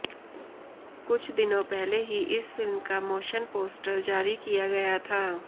कुछ दिनों पहले ही इस फिल्म का मोशन पोस्टर जारी किया गया था